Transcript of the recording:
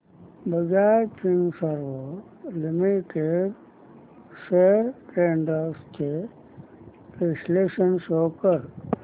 Bajaj Finserv limited shares trends चे विश्लेषण show कर